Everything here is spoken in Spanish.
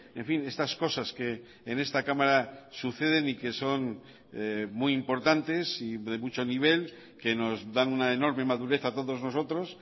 en fin estas cosas que en esta cámara suceden y que son muy importantes y de mucho nivel que nos dan una enorme madurez a todos nosotros